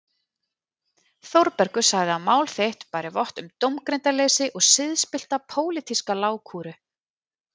Þórbergur sagði að mál þitt bæri vott um dómgreindarleysi og siðspillta pólitíska lágkúru.